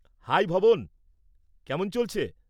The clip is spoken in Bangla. হাই ভবন, কেমন চলছে?